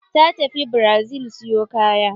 Ta tafi brazi siyo kaya.